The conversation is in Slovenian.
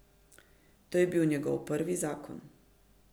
To je bil njegov prvi zakon.